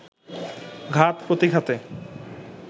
ঘাত-প্রতিঘাতে